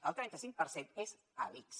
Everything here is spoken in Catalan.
el trenta cinc per cent és a l’ics